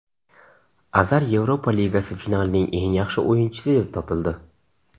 Azar Yevropa Ligasi finalining eng yaxshi o‘yinchisi deb topildi.